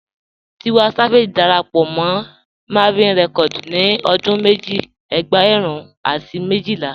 Tiwa Savage dàrápọ̀ mọ́ Mavin Records ní ọdún mẹ́jì ẹ̀gbẹ́rún àti mẹ́jìlà.